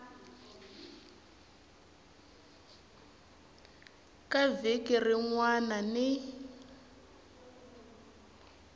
ka vhiki rin wana ni